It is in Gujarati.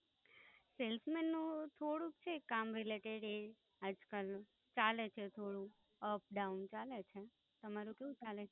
Salesman થોડુંક છે કામ રિલેટેડ એ આજ કાલ ચાલે છે થોડું, અપ ડાઉન ચાલે છે. તમારું કેવું ચાલે છે?